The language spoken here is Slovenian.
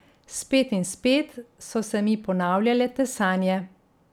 Spet in spet so se mi ponavljale te sanje.